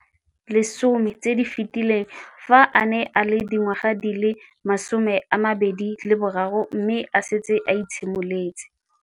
Dingwaga di le 10 tse di fetileng, fa a ne a le dingwaga di le 23 mme a setse a itshimoletse.